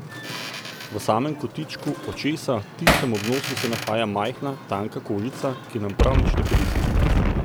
V samem kotičku očesa, tistem ob nosu, se nahaja majhna, tanka kožica, ki nam prav nič ne koristi.